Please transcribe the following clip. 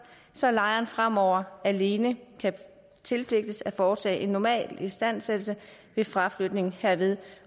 så lejeren fremover alene kan tilpligtes at foretage en normal istandsættelse ved fraflytning herved